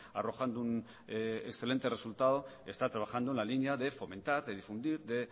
arrojando un excelente resultado está trabajando en la línea de fomentar de difundir de